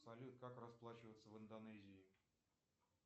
салют как расплачиваться в индонезии